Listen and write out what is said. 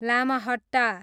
Lamahatta